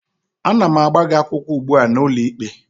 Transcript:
Ana m agba gị akwụkwọ ugbu a n'ụlọikpe